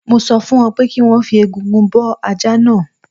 Mo sọ fún wọn pé kí wọ́n fi egungun bọ́ ajá náà